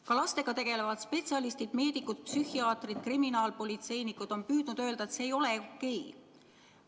Ka lastega tegelevad spetsialistid – meedikud, psühhiaatrid, kriminaalpolitseinikud – on püüdnud öelda, et see ei ole okei.